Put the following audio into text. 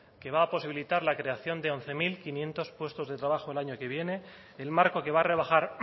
que va a posibilitar la creación de once mil quinientos puestos de trabajo el año que viene el marco que va a rebajar